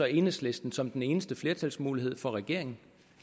enhedslisten som den eneste flertalsmulighed for regeringen